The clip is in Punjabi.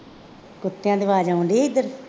ਕੁੱਤਿਆਂ ਦੀ ਆਵਾਜ਼ ਆਉਣ ਡੇਈ ਸੀ ਇੱਧਰ